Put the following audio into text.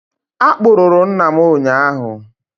Akpụrụ rụ nna m ụnyahụ